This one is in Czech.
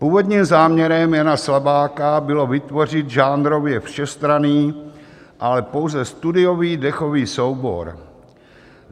Původním záměrem Jana Slabáka bylo vytvořit žánrově všestranný, ale pouze studiový dechový soubor.